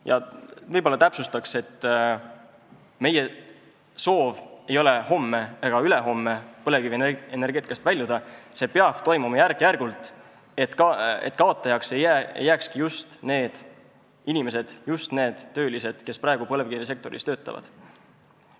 Ma võib-olla täpsustan, et meie soov ei ole homme ega ülehomme põlevkivienergeetikast väljuda, see peab toimuma järk-järgult, et kaotajaks ei jääkski just need inimesed, just need töölised, kes praegu põlevkivisektoris töötavad.